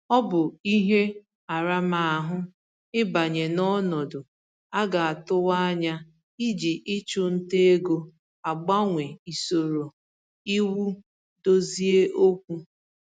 Ọ bụ ihe aramahụ ịbanye n'ọnọdụ a ga-atụwa anya iji ịchụ ntà ego agbanwe isoro iwu dozie okwu